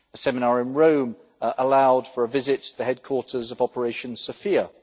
A seminar in Rome allowed for a visit to the headquarters of Operation Sophia.